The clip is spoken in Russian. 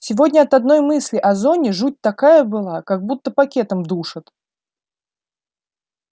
сегодня от одной мысли о зоне жуть такая была как будто пакетом душат